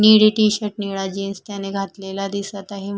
निळी टी_शर्ट निळा जीन्स त्याने घातलेला दिसत आहे.